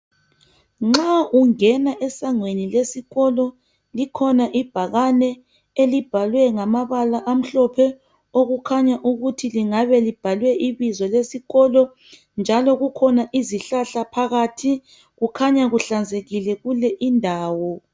Nxa ungena esangweni lesikolo, likhona ibhakane elibhalwe ngamabala amhlophe, okukhanya ukuthi lingabe libhalwe ibizo lesikolo, njalo kukhona izihlahla phakathi. Kukhanya kuhlanzekile kule indawo.